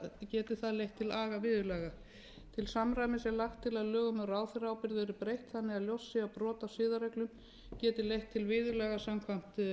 geti það leitt til agaviðurlaga til samræmis er lagt til að lögum um ráðherra ábyrgð verði breytt þannig að ljóst sé að brot á siðareglum geti leitt til viðurlaga samkvæmt